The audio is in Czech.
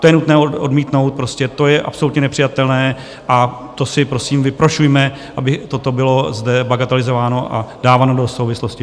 To je nutné odmítnout prostě, to je absolutně nepřijatelné a to si prosím vyprošujme, aby toto bylo zde bagatelizováno a dáváno do souvislosti.